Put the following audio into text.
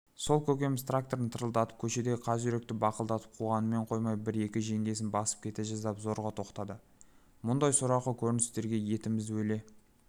сол көкеміз тракторын тырылдатып көшедегі қаз-үйректі бақылдатып қуғанымен қоймай бір-екі жеңгесін басып кете жаздап зорға тоқтады мұндай сорақы көріністерге етіміз өле